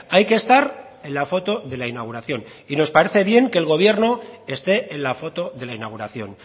hay que estar en la foto de la inauguración y nos parece bien que el gobierno esté en la foto de la inauguración